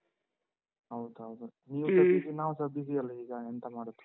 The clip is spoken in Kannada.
ಹೌದೌದು. ನೀವು busy ನಾವ್ಸ busy ಅಲ್ಲ ಈಗ, ಎಂತ ಮಾಡುದು?